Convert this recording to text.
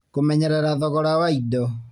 Kũmenyerera thogora wa indo